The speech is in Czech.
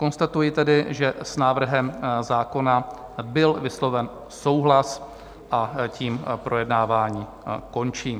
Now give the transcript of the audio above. Konstatuji tedy, že s návrhem zákona byl vysloven souhlas, a tím projednávání končím.